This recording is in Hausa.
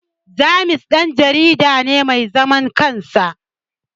James Dan jarida ne mai zaman kansa